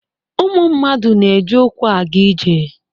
Ụmụ mmadụ na-eji ụkwụ aga ije